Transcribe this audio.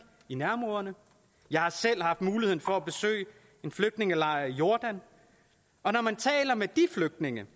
i nærområderne jeg har selv haft mulighed for at besøge en flygtningelejr i jordan og når man taler med de flygtninge